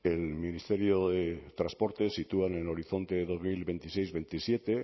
el ministerio de transportes sitúa en el horizonte de dos mil veintiséis veintisiete